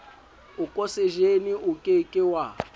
okosejene o ke ke wa